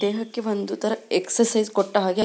ದೇಹಕ್ಕೆ ಒಂದು ತರ ಎಕ್ಸರ್ಸೈಜ್ ಕೊಟ್ಟ ಹಾಗೆ --